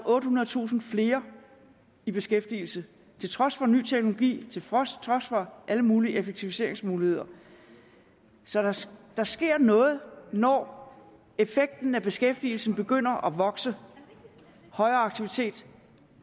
ottehundredetusind flere i beskæftigelse til trods for ny teknologi til trods for alle mulige effektiviseringsmuligheder så der så der sker noget når effekten af beskæftigelsen begynder at vokse højere aktivitet